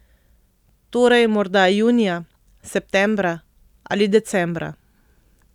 Torej morda junija, septembra ali decembra.